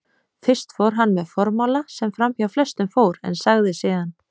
Fyrst fór hann með formála sem framhjá flestum fór, en sagði síðan